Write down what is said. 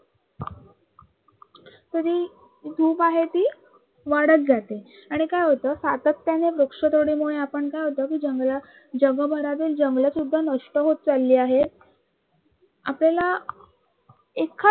तरी धूप आहे ती वाढत जाते आणि काय होतं सातत्याने आपण काय होतं की जंगलं जगभरातील जंगलं सुद्धा नष्ट होत चालली आहेत. आपल्याला एखाद